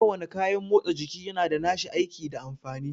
Ko wane kayan motsa jiki yana da nashi aiki da amfani